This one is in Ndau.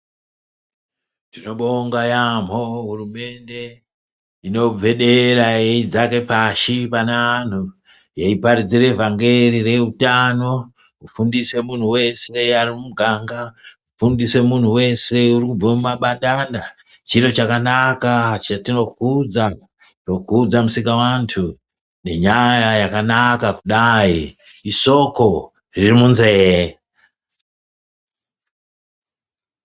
Tinobonga yaamho hurumende inogwedeire ichidzaka pashi pane vantu ichiparidzire vhangeri reutano kufundiswe muntu wese asi mumuganga, kufundise muntu wese uri kubva mumabadana. Chiro chakanaka chatinokudza, tinokudza Musikavantu nenyaya yakanaka kudai, isoko riri munzee.